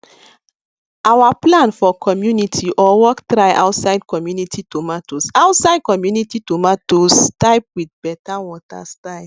our plan for community or work try outside country tomatoes outside country tomatoes type with better water style